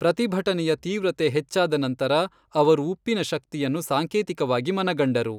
ಪ್ರತಿಭಟನೆಯ ತೀವ್ರತೆ ಹೆಚ್ಚಾದ ನಂತರ, ಅವರು ಉಪ್ಪಿನ ಶಕ್ತಿಯನ್ನು ಸಾಂಕೇತಿಕವಾಗಿ ಮನಗಂಡರು.